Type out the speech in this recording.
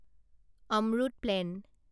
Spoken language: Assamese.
অম্রুত প্লেন